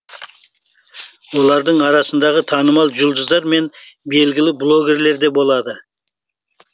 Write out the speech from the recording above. олардың арасында танымал жұлдыздар мен белгілі блогерлер де болады